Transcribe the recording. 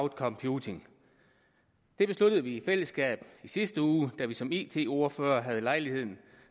computing det besluttede vi i fællesskab i sidste uge da vi som it ordførere havde lejlighed